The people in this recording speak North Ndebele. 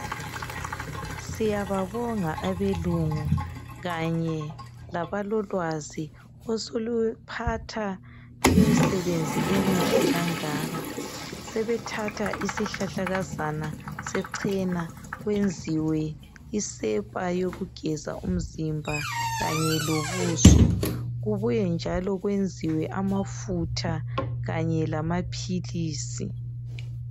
Siyababonga abelungu kanye labalolwazi oseluphatha imisebenzi emihle kangaka. Sebethatha isihlahlakazana sechena kwenziwe isepa yokugeza ubuso kubuye njalo kwenziwe amafutha kanye lamaphilisi.